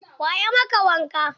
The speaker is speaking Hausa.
Wa ya maka wanka?